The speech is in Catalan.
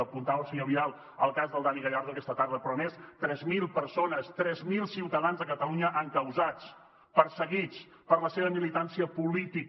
apuntava el senyor vidal el cas del dani gallardo aquesta tarda però més de tres mil persones tres mil ciutadans de catalunya encausats perseguits per la seva militància política